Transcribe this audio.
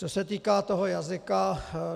Co se týká toho jazyka.